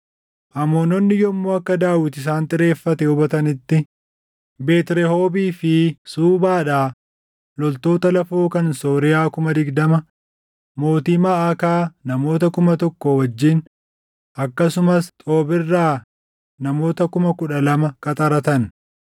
Amoononni yommuu akka Daawit isaan xireeffate hubatanitti, Beet Rehoobii fi Suubaadhaa loltoota lafoo kan Sooriyaa kuma digdama, mootii Maʼakaa namoota kuma tokko wajjin akkasumas Xoob irraa namoota kuma kudha lama qaxaratan.